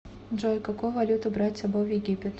джой какую валюту брать с собой в египет